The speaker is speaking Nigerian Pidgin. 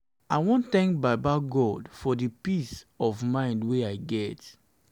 i wan tank baba god for di peace of mind wey i get.